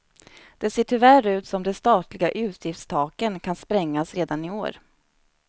Det ser tyvärr ut som det statliga utgiftstaken kan sprängas redan i år.